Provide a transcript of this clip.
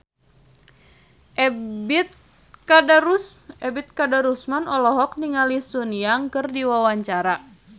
Ebet Kadarusman olohok ningali Sun Yang keur diwawancara